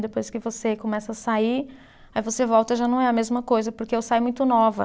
Depois que você começa a sair, aí você volta e já não é a mesma coisa, porque eu saí muito nova.